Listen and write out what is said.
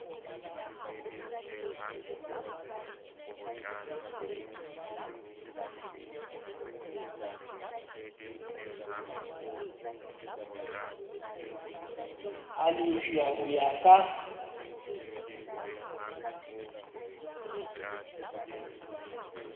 a lefshwa ho ya ka